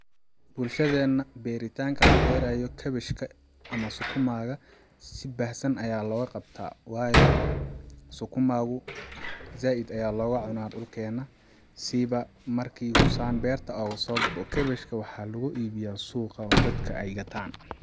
Bulshadeena beerutanka la beraayo cabbage ka ama sukuma si baahsan ayaa loga qabtaa waayo sukuma gu zaid looga cuna dhulkena sii ba marki uu saan berta ogasoo go'o cabbage ka waxaa lagu iibiya suuqa oo dadka ay gataan